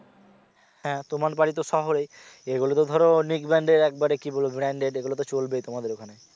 হ্যা তোমার বাড়ি তো শহরেই এগুলো তো ধরো নিক brand এর একবারে কি বলব branded এগুলো চলবেই তোমাদের ওখানে